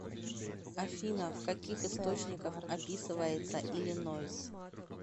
афина в каких источниках описывается иллинойс